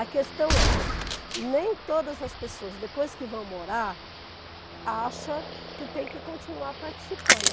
A questão é, nem todas as pessoas, depois que vão morar, acham que tem que continuar participando.